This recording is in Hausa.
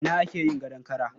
A ina ake yin gadon kara?